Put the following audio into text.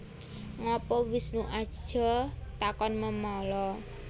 Ngapa Wisnu Aja takon memala